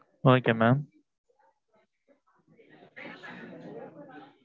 ok mam